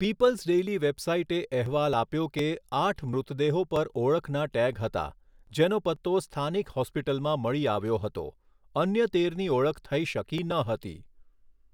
People's Daily વેબસાઈટે અહેવાલ આપ્યો કે, આઠ મૃતદેહો પર ઓળખના ટેગ હતા, જેનો પત્તો સ્થાનિક હોસ્પિટલમાં મળી આવ્યો હતો , અન્ય તેરની ઓળખ થઈ શકી ન હતી.